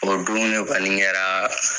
O don ne kɔni kɛra